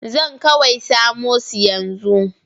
Zan kawai samo su yanzu.